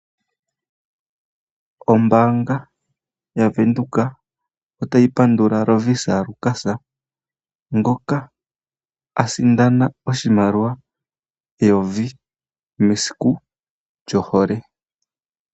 Ombaanga yaVenduka ota yi pandula Lovisa Lukas ngoka a sindana oshimaliwa eyovi mesiku lyo hole.